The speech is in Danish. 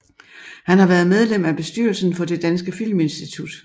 Han har været medlem af bestyrelsen for Det danske Filminstitut